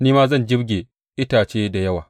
Ni ma zan jibge itace da yawa.